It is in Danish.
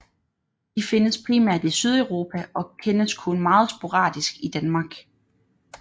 De findes primært i Sydeuropa og kendes kun meget sporadisk i Danmark